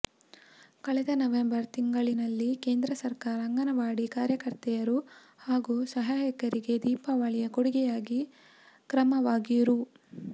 ಕಳೆದ ನವೆಂಬರ್ ತಿಂಗಳಿನಲ್ಲಿ ಕೇಂದ್ರ ಸರಕಾರ ಅಂಗನವಾಡಿ ಕಾರ್ಯಕರ್ತೆಯರು ಹಾಗೂ ಸಹಾಯಕಿಯರಿಗೆ ದೀಪಾವಳಿಯ ಕೊಡುಗೆಯಾಗಿ ಕ್ರಮವಾಗಿ ರೂ